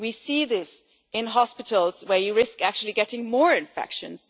We see this in hospitals, where you risk actually getting more infections.